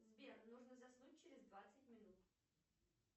сбер нужно заснуть через двадцать минут